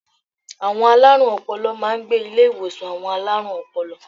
Àwọn alárùn ọpọlọ máa n gbé Ilé ìwòsàn àwon alárùn opolo